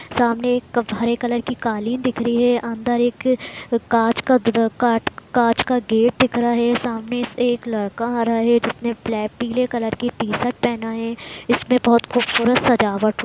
सामने एक हरे कलर की कालीन दिख रही है अंदर एक कांच का का-का-कांच का गेट दिख रहा है सामने से एक लड़का आ रहा है जिसने बल-पिले कलर का टी-शर्ट पहना है इसमें बहुत खूबसूरत सजावट --